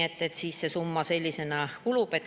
Selline summa.